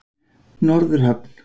Norðurhöfn